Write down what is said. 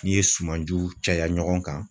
N'i ye sumanjiw caya ɲɔgɔn kan